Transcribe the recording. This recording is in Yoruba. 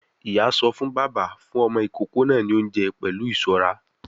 Ìyá sọ fún bàbá; fún ọmọ ìkókó náà ní oúnjẹ pẹ̀lú ìṣọ́ra